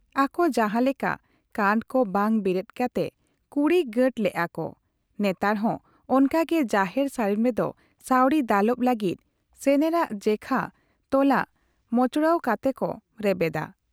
ᱟᱠᱚ ᱡᱟᱦᱟᱸ ᱞᱮᱠᱟ ᱠᱟᱱᱴ ᱠᱚ ᱵᱟᱝ ᱵᱮᱨᱮᱫ ᱠᱟᱛᱮ ᱠᱩᱲᱤ ᱜᱟᱸᱴ ᱞᱮᱜ ᱟ ᱠᱚ ᱾ᱱᱮᱛᱟᱨ ᱦᱚᱸ ᱚᱱᱠᱟ ᱜᱮ ᱡᱟᱦᱮᱨ ᱥᱟᱹᱲᱤᱢ ᱨᱮᱫᱚ ᱥᱟᱹᱣᱲᱤ ᱫᱟᱞᱚᱵ ᱞᱟᱹᱜᱤᱫ ᱥᱮᱱᱮᱨᱟᱜ ᱡᱮᱠᱷᱟ ᱛᱚᱞᱟᱜ ᱢᱚᱪᱲᱣ ᱠᱟᱛᱮ ᱠᱚ ᱨᱮᱵᱮᱫᱟ ᱾